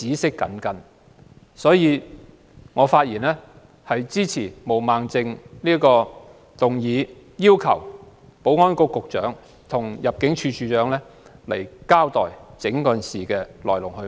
所以，我發言支持毛孟靜議員的議案，要求保安局局長和入境事務處處長到立法會交代整件事的來龍去脈。